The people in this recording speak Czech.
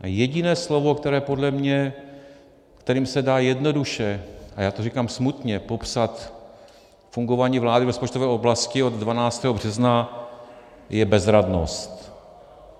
Jediné slovo, které podle mě, kterým se dá jednoduše - a já to říkám smutně - popsat fungování vlády v rozpočtové oblasti od 12. března, je bezradnost.